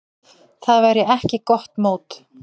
Það væri ekki gott mót.